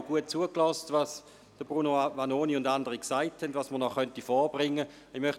Ich habe auch Bruno Vanoni und den anderen gut zugehört, als sie sagten, was man noch vorbringen könne.